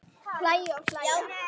Hlæja og hlæja.